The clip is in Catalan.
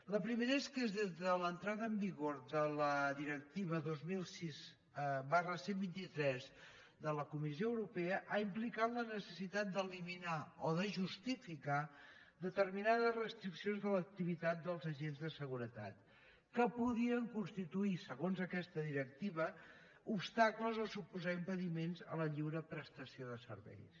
la primera és que l’entrada en vigor de la directiva dos mil sis cent i vint tres de la comissió europea ha implicat la necessitat d’eliminar o de justificar determinades restriccions de l’activitat dels agents de seguretat que podien constituir segons aquesta directiva obstacles o suposar impediments a la lliure prestació de serveis